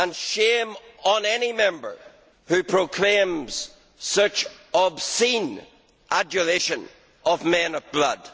Shame on any Member who proclaims such obscene adulation of men of blood!